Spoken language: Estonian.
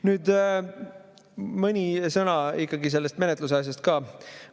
Nüüd mõni sõna sellest menetluse asjast ka.